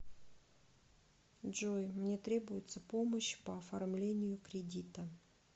джой мне требуется помощь по оформлению кредита